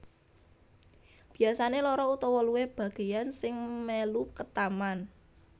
Biyasane loro utawa luwih bageyan sing melu ketaman